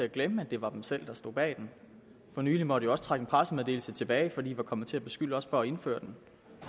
at glemme at det var dem selv der stod bag den for nylig måtte man også trække en pressemeddelelse tilbage fordi man var kommet til at beskylde os for at indføre den